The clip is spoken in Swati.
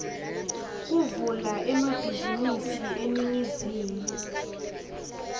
kuvula emabhizinisi eningizimu